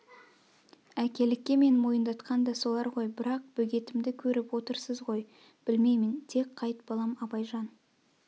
әкелікке мен мойындатқан да солар ғой бірақ бөгетімді көріп отырсыз ғой блмеймін тез қайт балам абайжан